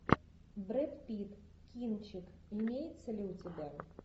брэд питт кинчик имеется ли у тебя